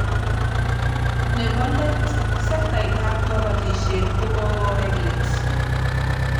Nebo let sektait ab kabatishet ko kokowek let